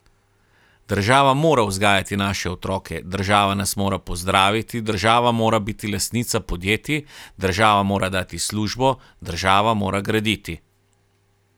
Država mora vzgajati naše otroke, država nas mora pozdraviti, država mora biti lastnica podjetij, država mora dati službo, država mora graditi.